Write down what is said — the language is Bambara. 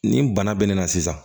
Nin bana bɛ ne na sisan